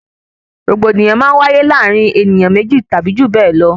Rògbòdìyàn máa ń wáyé láàrin ènìyàn méjì tàbí jù bẹẹ lọ